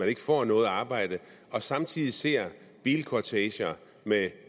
ikke får noget arbejde og samtidig ser bilkorteger med